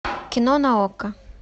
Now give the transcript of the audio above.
кино на окко